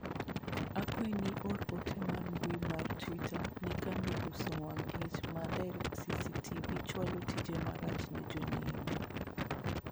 akwayi ni ior ote mar mbui mar twita ni kambi uso wang' liech ma directv chwalo tije marach ne jonyiewo